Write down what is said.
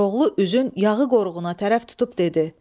Koroğlu üzün yağı qoruğuna tərəf tutub dedi: